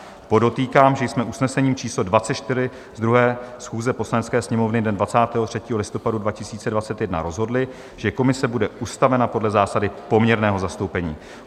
Podotýkám, že jsme usnesením číslo 24 z 2. schůze Poslanecké sněmovny dne 23. listopadu 2021 rozhodli, že komise bude ustavena podle zásady poměrného zastoupení.